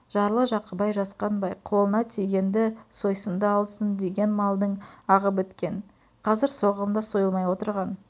жарлы-жақыбай жасқанбай қолына тигенді сойсын да алсын деген малдың ағы біткен қазір соғым да сойылмай отырған